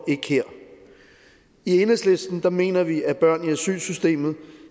i enhedslisten mener vi at børn i asylsystemet